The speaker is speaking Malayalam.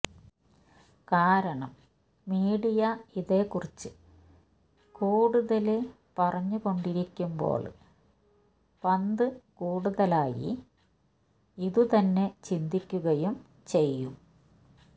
കാരണം മീഡിയ ഇതേക്കുറിച്ച് കൂടുതല് പറഞ്ഞുകൊണ്ടിരിക്കുമ്പോള് പന്ത് കൂടുതലായി ഇതു തന്നെ ചിന്തിക്കുകയും ചെയ്യും